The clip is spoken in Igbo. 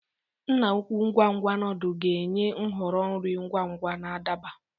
Nna-ukwu ngwa ngwa noodles ga-enye nhọrọ nri ngwa ngwa na adaba.